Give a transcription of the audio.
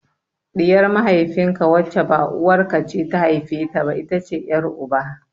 Ɗiyar mahaifin ka wacce ba uwar ka ce ta haife ta ba, ita ce ƴar uba.